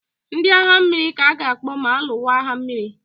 Ndị agha mmiri ka a ga-akpọ ma alụwa agha mmiri.